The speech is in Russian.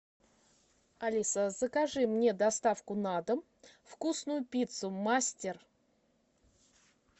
алиса закажи мне доставку на дом вкусную пиццу мастер